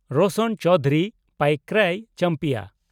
Roshan Chowdhury (Chowdhuri) Paikray champion (ᱦᱚ)